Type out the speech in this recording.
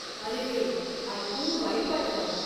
अरेरे, ऐकून वाईट वाटलं.